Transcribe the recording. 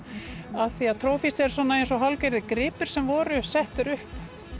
af því að Trophies er eins og hálfgerðir gripir sem voru settir upp